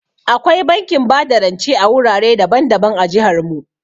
Akwai bankin bada rance a wurare daban-daban a jihar mu.